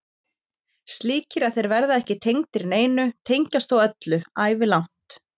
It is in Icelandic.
Slíkir að þeir verða ekki tengdir neinu, tengjast þó öllu, ævilangt.